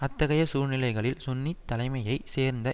அத்தகைய சூழ்நிலைகளில் சுன்னி தலைமையை சேர்ந்த